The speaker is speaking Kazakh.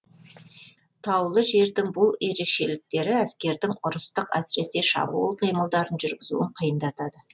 таулы жердің бұл ерекшеліктері әскердің ұрыстық әсіресе шабуыл қимылдарын жүргізуін қиындатады